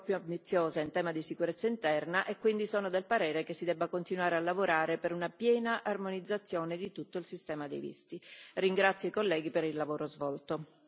Sono convinta, però, che l'Unione possa essere ancor più ambiziosa in tema di sicurezza interna e quindi sono del parere che si debba continuare a lavorare per una piena armonizzazione di tutto il sistema dei visti. Ringrazio i colleghi per il lavoro svolto.